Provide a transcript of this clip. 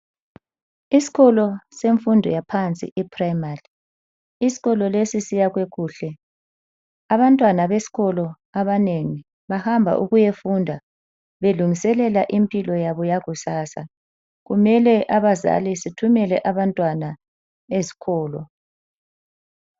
Isikolo semfundo yaphansi i primary isikolo lesi siyakhwe kuhle, abantwana besikolo abanengi bahamba ukuyafunda belungiselela impilo yabo yakusasa. Kumele abazali sithumele abantwana esikolo.